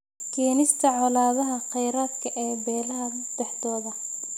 Keenista colaadaha kheyraadka ee beelaha dhexdooda.